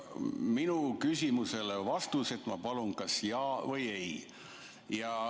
Oma küsimusele vastuseks ma palun öelda kas jah või ei.